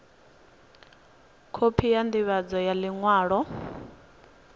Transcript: khophi ya ndivhadzo ya liṅwalo